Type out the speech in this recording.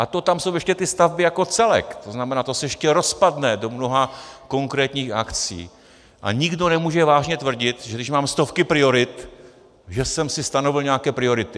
A to tam jsou ještě ty stavby jako celek, to znamená, to se ještě rozpadne do mnoha konkrétních akcí, a nikdo nemůže vážně tvrdit, že když mám stovky priorit, že jsem si stanovil nějaké priority.